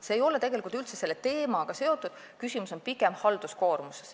See ei ole tegelikult üldse selle teemaga seotud, küsimus on pigem halduskoormuses.